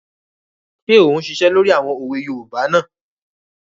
Ṣé ò ún ṣiṣẹ́ lórí àwọn òwe yoòbá náà?